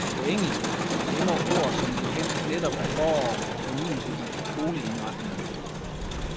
På engelsk emmer ordet som bekendt netop af forår og fornyelse i boligindretningen.